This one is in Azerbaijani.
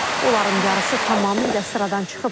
Onların yarısı tamamilə sıradan çıxıb.